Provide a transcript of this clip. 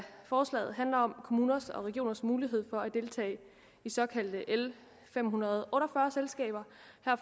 forslaget handler om kommuners og regioners mulighed for at deltage i såkaldte l fem hundrede og otte og fyrre selskaber